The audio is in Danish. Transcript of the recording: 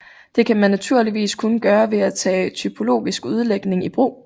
Det kan man naturligvis kun gøre ved at tage typologisk udlægning i brug